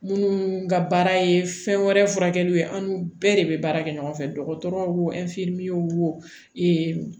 Munnu ka baara ye fɛn wɛrɛ furakɛliw ye an n'u bɛɛ de bɛ baara kɛ ɲɔgɔn fɛ dɔgɔtɔrɔ wo wo